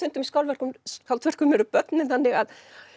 í skáldverkum skáldverkum eru börnin þannig að